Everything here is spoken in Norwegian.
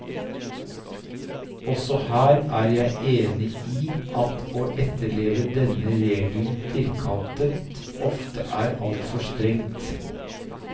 Også her er jeg enig i at å etterleve denne regelen firkantet ofte er altfor strengt.